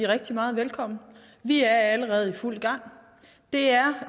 rigtig meget velkommen vi er allerede i fuld gang det er